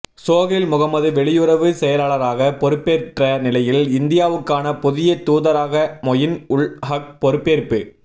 சோகைல் முகமது வெளியுறவு செயலாளராக பொறுப்பேற்ற நிலையில் இந்தியாவுக்கான புதிய தூதராக மொயின் உல் ஹக் பொறுப்பேற்பு